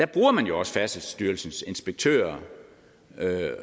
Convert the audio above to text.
bruger man jo også færdselsstyrelsens inspektører